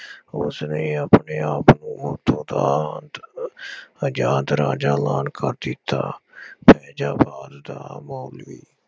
ਉਸਨੇ ਆਪਣੇ ਆਪ ਨੂੰ ਉੱਥੋ ਦਾ ਆਜ਼ਾਦ ਰਾਜਾ ਐਲਾਨ ਕਰ ਦਿੱਤਾ। ਦਾ